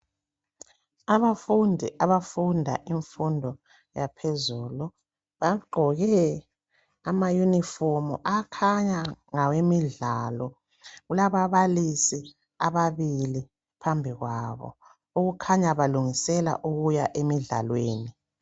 Abafundi abafunda imfundo yaphezulu bagqoke ama uniform akhanya ngawemidlalo. Kulababalisi ababili phambi kwabo okukhanya balungisela ukuya emidlalweni